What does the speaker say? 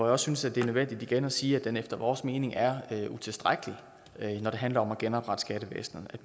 også synes at det er nødvendigt igen at sige at den efter vores mening er utilstrækkelig når det handler om at genoprette skattevæsenet